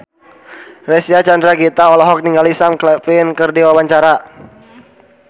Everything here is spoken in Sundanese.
Reysa Chandragitta olohok ningali Sam Claflin keur diwawancara